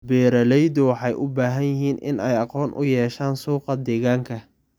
Beeraleydu waxay u baahan yihiin in ay aqoon u yeeshaan suuqa deegaanka.